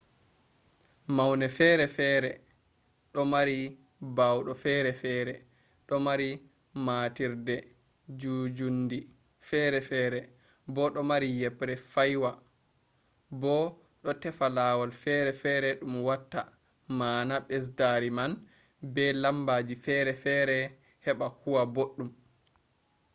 maune ferefere do mari baawdo ferefere do mari matiirde njuunjuundi ferefere bo do mari yebre faywa bo do tefa lawol ferefere dum watta maana besdaari man be bo lambaji ferefere heba huwa boddum